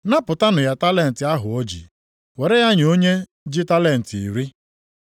“ ‘Napụtanụ ya talenti ahụ o ji, were ya nye onye ji talenti iri.